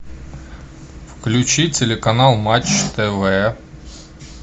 включи телеканал матч тв